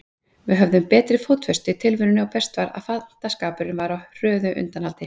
Við höfðum betri fótfestu í tilverunni og best var, að fantaskapurinn var á hröðu undanhaldi.